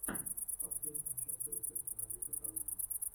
последняя часть рецепты на бис от алены